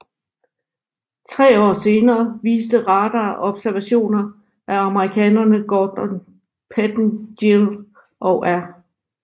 Tre år senere viste radarobservationer af amerikanerne Gordon Pettengill og R